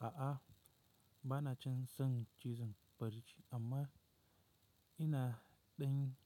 A'a, ba na can son cizon barci amma ina ɗan